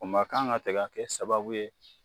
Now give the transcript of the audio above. O man kan ka kɛ sababu ye